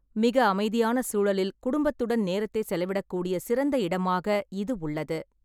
மிக அமைதியான சூழலில் குடும்பத்துடன் நேரத்தைச் செலவிடக்கூடிய சிறந்த இடமாக இது உள்ளது.